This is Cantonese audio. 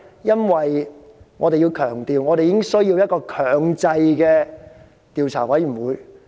因為我們需要一個具有強制調查權的調查委員會。